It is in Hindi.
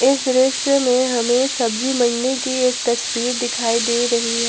इस दृश्य में हमें सब्जी मंडी की एक तस्वीर दिखाई दे रही है।